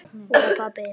Og pabbi!